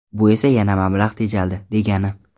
Bu esa yana mablag‘ tejaldi, degani.